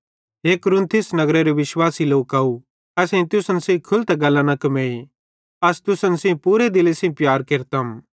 हे कुरिन्थिस नगरेरे विश्वास लोकव असेईं तुसन सेइं खुलतां गल्लां कमेई अस तुसन सेइं पूरे दिले सेइं प्यार केरतम